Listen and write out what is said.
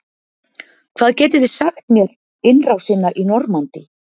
hvað getið þið sagt mér innrásina í normandí